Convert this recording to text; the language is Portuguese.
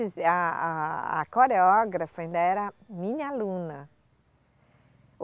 A, a, a coreógrafa ainda era minha aluna.